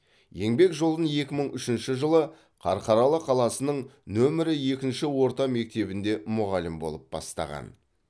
еңбек жолын екі мың үшінші жылы қарқаралы қаласының нөмірі екінші орта мектебінде мұғалім болып бастаған